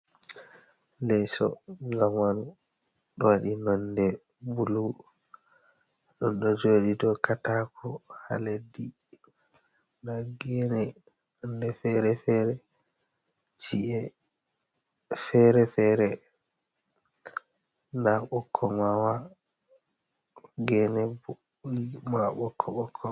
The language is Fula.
Leso zamanu ɗo waɗi nonde bulu don ɗo jodi dow katako ha leddi nda gene nonde fere fere, ci’e fere fere nda ɓikkon mama gene mai ɓokko ɓokko.